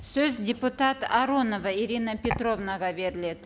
сөз депутат аронова ирина петровнаға беріледі